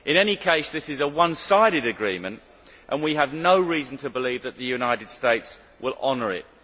In any case, this is a one sided agreement and we have no reason to believe that the United States will honour it.